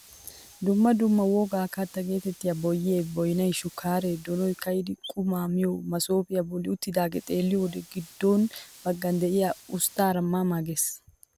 Dumma dumma wogaa katta getettiyaa boyyee, boynay, shukaree, donoy ka'idi qumaa miyoo masopiyaabolli uttidagaa xeelliyoo wode giddo baggan de'iyaa usttaara ma ma ges!